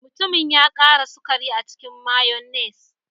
Mutumin ya ƙara sukari a cikin mayonnaise.